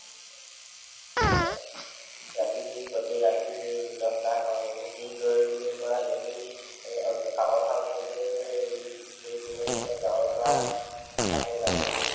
হয়, ৰাতি বিহু গোতেই ৰাতি বিহু নচা হয়, দূৰ দূৰনিৰ পৰা গোতেই কাকʼ পথাৰ অঞ্চলটোৰ দূৰ দূৰনিৰ পৰা, গাওঁৰ পৰা আহে নাচনি